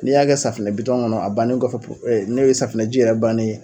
N'i y'a kɛ safinɛ bitɔn ŋɔnɔ a bannen kɔfɛ po n'e safunɛji yɛrɛ bannen ye